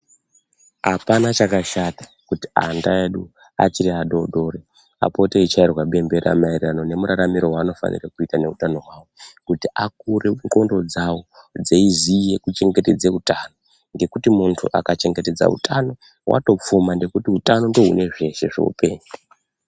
Apana chakashata kuti anda edu achiri adodori apote echichairwa bembera maererano nemuraramiro anofanirwe kuita neutano hwawo kuti akure ndxondo dzao dzeyiziye kuchengetedze utano ngekuti mundu akachengetedze utano watofuma nekuti utani ndiwo une zvese zveupenyu.